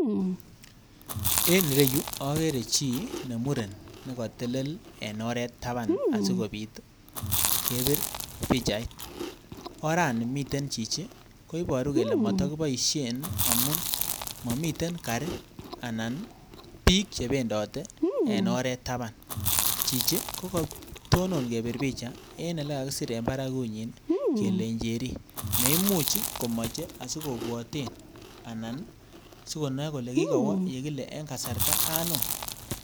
En ire yuu ogere chi nemuren nekotel en oret taban sikopit kebir pichait. Orani miten chichi koboru kele moto kiboishen amut momiten garii ana bik chebendote en oret taban, chichi kogotonon kebir picha en ile kakisir en baragunyiny kole njeri neimuch komoche sikobwoten anan sokonoe kole kikowo ole kile en kasarta anum